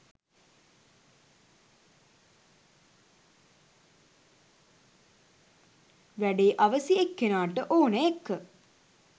වැඩේ අවැසි එක්කෙනාට ඕන එක්ක.